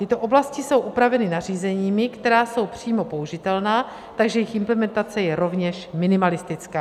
Tyto oblasti jsou upraveny nařízeními, která jsou přímo použitelná, takže jejich implementace je rovněž minimalistická.